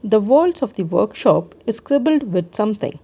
the walls of the workshop is scribbled with something.